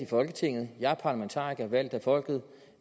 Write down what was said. folketinget jeg er parlamentariker og valgt af folket